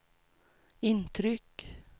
intryck